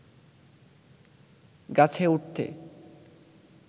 গাছে উঠতে